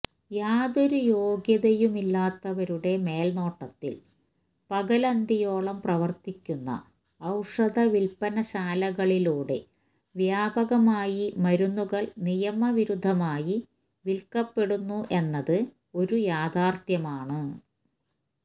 യാതൊരു യോഗ്യതയുമില്ലാത്തവരുടെ മേൽനോട്ടത്തിൽ പകലന്തിയോളം പ്രവർത്തിക്കുന്ന ഔഷധവിൽപ്പനശാലകളിലൂടെ വ്യാപകമായി മരുന്നുകൾ നിയമവിരുദ്ധമായി വിൽക്കപ്പെടുന്നു എന്നത് ഒരു യാഥാർത്ഥ്യമാണ്